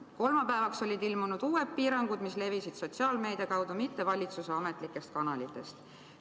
Kolmapäevaks olid ilmunud uued piirangud, mis levisid sotsiaalmeedia kaudu, mitte valitsuse ametlikest kanalitest.